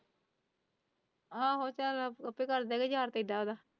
ਆਹੋ ਚਾਲ ਆਪੇ ਕਰਦੇ ਗਾ।